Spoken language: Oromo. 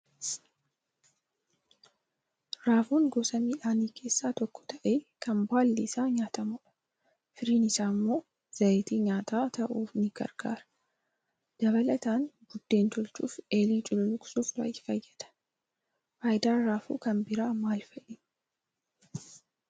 Raafuun gosa miidhaan keessaa tokko ta'ee kan baalli isaa nyaatamudha. Firiin isaa immoo zayitii nyaataa ta'uuf ni gargaara. Dabalataan, buddeen tolchuuf eelee cululluqsuuf fayyada. Faayidaan raafuu kan biraan maal fa'i?